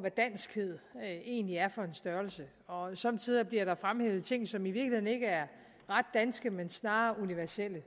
hvad danskhed egentlig er for en størrelse og somme tider bliver der fremhævet ting som i virkeligheden ikke er ret danske men snarere universelle